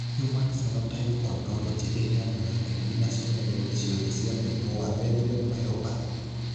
Human Phenotype Ontology ĩheanaga ndariri na cionereria ciothe cia mũrimũ wa Bethlem myopathy.